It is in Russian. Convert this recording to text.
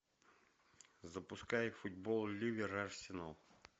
запускай футбол ливер арсенал